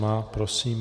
Má, prosím.